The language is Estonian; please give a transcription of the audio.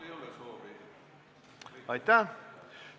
Aitäh!